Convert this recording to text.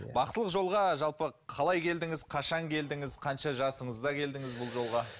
бақсылық жолға жалпы қалай келдіңіз қашан келдіңіз қанша жасыңызда келдіңіз бұл жолға